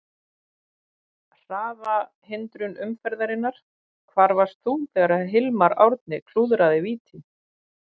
Hraðahindrun umferðarinnar: Hvar varst þú þegar Hilmar Árni klúðraði víti?